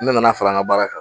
Ne nana far'an ka baara kan.